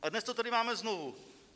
A dnes to tady máme znovu.